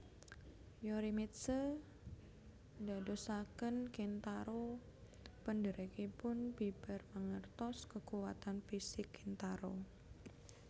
Yorimitsu ndadosaken Kintaro pendhèrèkipun bibar mangertos kekuwatan fisik Kintaro